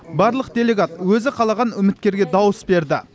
барлық делегат өзі қалаған үміткерге дауыс берді